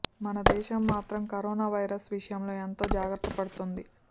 మన దేశం మాత్రం కరోనా వైరస్ విషయంలో ఎంతో జాగ్రత్త పడుతోంది